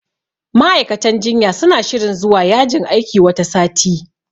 Ma'aikatan jinya suna shirin zuwa yajin aiki wata sati.